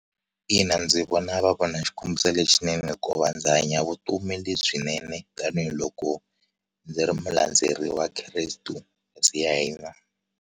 Ina, ndzi vona va vona xikombiso lexinene hikuva ndzi hanya vutomi lebyinene tanihiloko ndzi ri mulandzeri wa Kresto hosi ya hina.